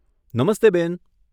નમસ્તે બેન.